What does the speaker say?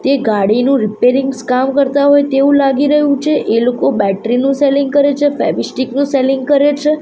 તે ગાડીનું રીપેરીંગ્સ કામ કરતા હોય તેવું લાગી રહ્યું છે એ લોકો બેટરી નું સેલિંગ કરે છે ફેવીસ્ટીક નું સેલિંગ કરે છે.